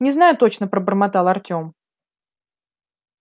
не знаю точно пробормотал артём